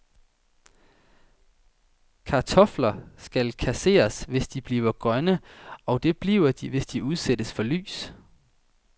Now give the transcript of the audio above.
Kartofler skal kasseres, hvis de bliver grønne, og det bliver de, hvis de udsættes for lys.